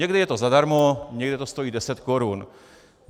Někdy je to zadarmo, někde to stojí 10 korun.